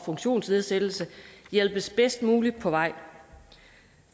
funktionsnedsættelse hjælpes bedst muligt på vej